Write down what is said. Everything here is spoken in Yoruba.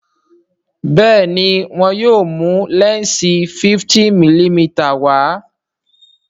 Béèni wón yóò mú lẹnsi 50mm wá.